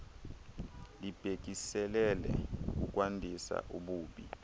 libhekiselele kukwandisa ububi